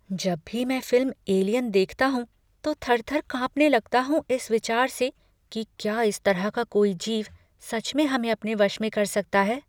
जब भी मैं फिल्म 'एलियन' देखता हूँ तो थर थर कांपने लगता हूँ इस विचार से कि क्या इस तरह का कोई जीव सच में हमें अपने वश में कर सकता है।